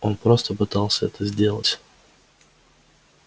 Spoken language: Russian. он просто пытался это сделать